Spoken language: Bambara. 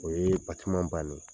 O ye bannen ye.